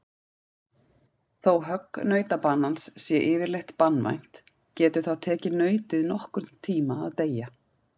Þó högg nautabanans sé yfirleitt banvænt getur það tekið nautið nokkurn tíma að deyja.